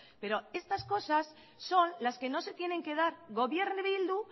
pero estas cosas son las que no se tienen que dar gobierne bildu